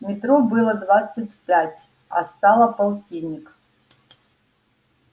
метро было двадцать пять а стало полтинник